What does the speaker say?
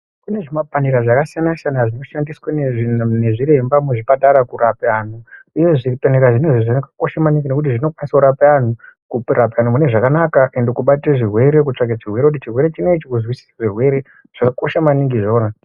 Kune zvimapanera zvakasiyana siyana zvinoshandiswa nezviremba muzvipatara kurapa antu. Uye zvipanera zvinezvi zvakakosha maningi nekuti zvinokwanisa kurapa antu munezvakana uye kubatira zvirwere, kutsvaka chirwere, kuzvisisa zvirerwe zvakakosha maningi zvona.